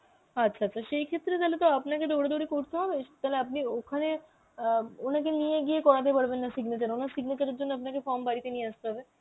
আচ্ছা আচ্ছা সেই ক্ষেত্রে তালে তো আপনাকে দৌড়াদৌড়ি করতে হবে তালে আপনি ওখানে অ্যাঁ উনাদের নিয়ে গিয়ে করাতে পারবেন না signature, ওনার signature এর জন্য আপনাকে form বাড়িতে নিয়ে আসতে হবে